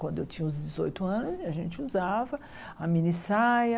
Quando eu tinha uns dezoito anos, a gente usava a mini saia.